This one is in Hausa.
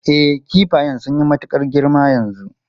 E, kifayan sun yi matukar girma yanzu.